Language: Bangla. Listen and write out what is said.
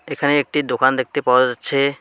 এখানে একটি দোকান দেখতে পাওয়া যাচ্ছে।